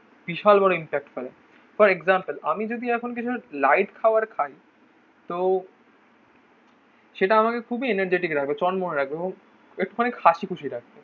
বিশাল বড় ইনফ্যাক্ট হবে. For example. আমি যদি এখন কিছু লাইট খাওয়ার খাই. তো সেটা আমাকে খুবই এনার্জিটিক রাখো. চন মনে লাগবে এবং একটুখানি হাসিখুশি রাখবো.